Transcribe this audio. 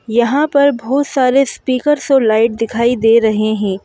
यहाँ पर बहुत सारे स्पीकर्स और लाइट दिखाई दे रहे हैं।